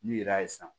N'u yera san